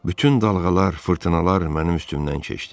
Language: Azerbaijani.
Bütün dalğalar, fırtınalar mənim üstümdən keçdi.